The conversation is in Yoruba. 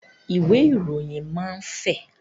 Ìwé ìròyìn máa ń fẹ̀